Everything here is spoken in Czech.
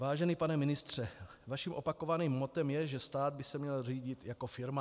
Vážený pane ministře, vaším opakovaným mottem je, že stát by se měl řídit jako firma.